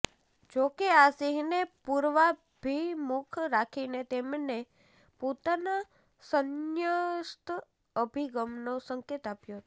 જોકે આ સિંહને પૂર્વાભિમુખ રાખીને તેમણે પોતાના સંન્યસ્ત અભિગમનો સંકેત આપ્યો હતો